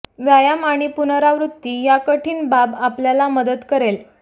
व्यायाम आणि पुनरावृत्ती या कठीण बाब आपल्याला मदत करेल